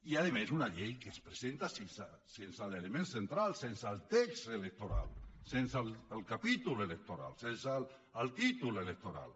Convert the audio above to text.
i a més una llei que es presenta sense l’element central sense el text electoral sense el capítol electoral sense el títol electoral